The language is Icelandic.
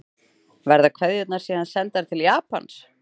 Verða kveðjurnar síðan sendar til Japans